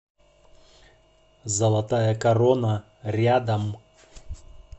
золотая корона рядом